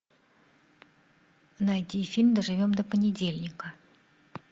найди фильм доживем до понедельника